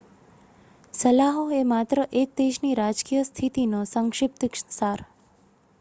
સલાહો એ માત્ર એક દેશની રાજકીય સ્થિતિનો સંક્ષિપ્ત સાર